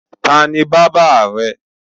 Ta ni bábà rẹ?